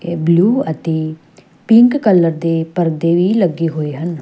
Blue ਅਤੇ pink colour ਦੇ ਪਰਦੇ ਵੀ ਲੱਗੇ ਹੋਏ ਹਨ।